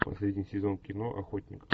последний сезон кино охотник